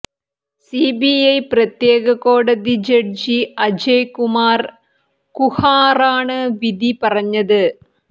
CBI പ്രത്യേക കോടതി ജഡ്ജി അജയ് കുമാര് കുഹാറാണ് വിധി പറഞ്ഞത്